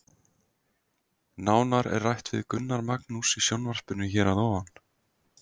Nánar er rætt við Gunnar Magnús í sjónvarpinu hér að ofan.